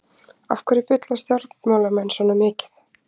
Af hverju bulla stjórnmálamenn svona mikið?